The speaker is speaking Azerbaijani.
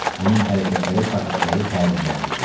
Onun hərəkətləri faşistləri təəccübləndirdi.